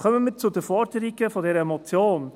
Kommen wir zu den Forderungen dieser Motion.